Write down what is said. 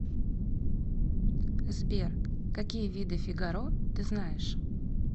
сбер какие виды фигаро ты знаешь